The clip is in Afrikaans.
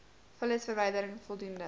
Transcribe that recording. vullisverwyderin voldoende g